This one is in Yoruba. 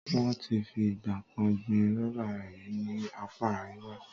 Wọ́n ti fi ìgbà kan gbin rọ́bà rí ní apá Àríwá.